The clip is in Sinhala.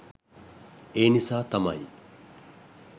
ඒනිසා තමයි